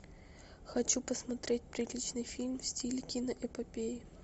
хочу посмотреть приличный фильм в стиле киноэпопеи